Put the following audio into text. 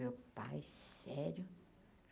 Meu pai, sério?